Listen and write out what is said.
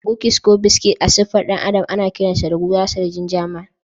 Kukis ko biscuit a siffar ɗan adam ana kiransa gurasar ginger Man